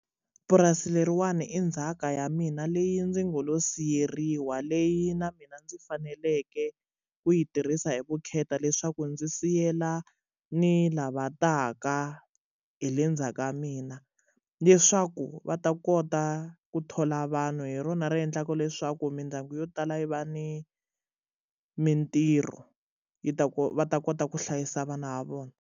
Purasi leriwani i ndzhaka ya mina leyi ndzi ngo lo siya yeriwa leyi na mina ndzi faneleke ku yi tirhisa hi vukheta leswaku ndzi siyela ni lava taka hi le ndzhaku ka mina leswaku va ta kota ku thola vanhu hi rona ri endlaka leswaku mindyangu yo tala yi va ni mintirho yi ta ku va ta kota ku hlayisa vana va vona.